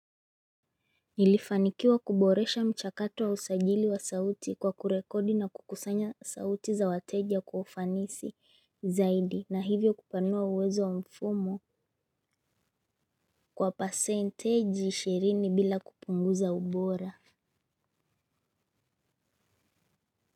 Nilifanikiwa kuboresha mchakato wa usajili wa sauti kwa kurekodi na kukusanya sauti za wateja kwa ufanisi zaidi na hivyo kupanua uwezo wa mfumo kwa percentage ishirini bila kupunguza ubora.